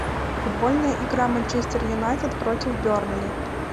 футбольная игра манчестер юнайтед против бернли